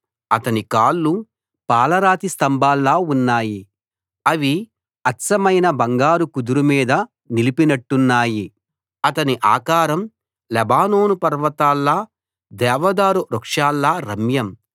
అతని కాళ్లు పాలరాతి స్తంభాల్లా ఉన్నాయి అవి అచ్చమైన బంగారు కుదురు మీద నిలిపినట్టున్నాయి అతని ఆకారం లెబానోను పర్వతాల్లా దేవదారు వృక్షాల్లా రమ్యం